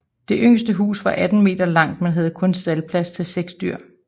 Det yngste hus var 18 m langt men havde kun staldplads til 6 dyr